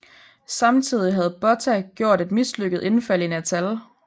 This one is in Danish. Samtidig havde Botha gjort et mislykket indfald i Natal